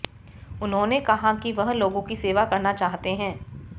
उन्होंने कहा कि वह लोगों की सेवा करना चाहते हैं